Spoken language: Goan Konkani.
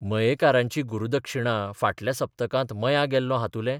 मयेकारांची गुरुदक्षिणा फाटल्या सप्तकांत मयां गेल्लों हातुलें.